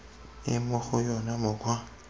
e mo go yona mokgwa